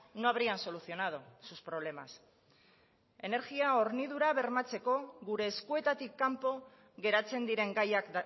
no habrían solucionado sus problemas energia hornidura bermatzeko gure eskuetatik kanpo geratzen diren gaiak